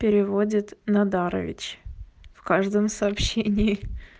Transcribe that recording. переводит надарович в каждом сообщении